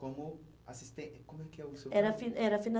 Como assisten, como que era o seu emprego? Era finan era